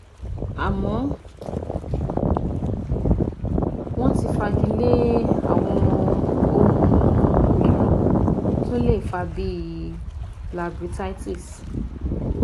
Àmọ́ wọ́n ti fagilé àwọn ohun mìíràn tó lè fa á bí i labirythitis